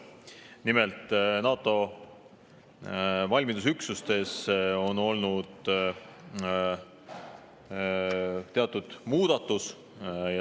Nimelt, NATO valmidusüksustes on olnud teatud muudatus.